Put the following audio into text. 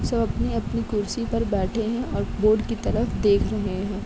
सब अपने-अपने कुर्सी पर बैठे हैं और बोर्ड की तरफ देख रहे है।